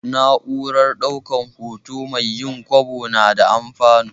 Na'urar ɗaukan hoto mai yin kwabo na da alfanu.